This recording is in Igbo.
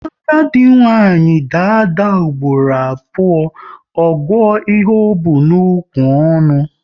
Agadi nwaanyị daa ada ugboro abụọ, ọ gụọ ihe o bu n'ukwu ọnụ